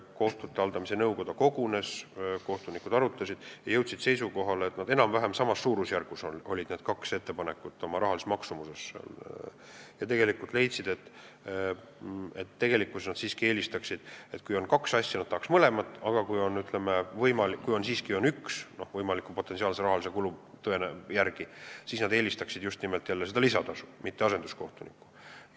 Kohtute haldamise nõukoda kogunes, kohtunikud arutasid seda – oma rahalise maksumuse poolest olid need kaks ettepanekut enam-vähem samas suurusjärgus – ja leidsid, et kui on kaks asja, siis nad tahaks mõlemat, aga kui potentsiaalse rahalise kulu tõttu on võimalik siiski ainult üks, siis nad eelistaksid just nimelt lisatasu, mitte asenduskohtunikke.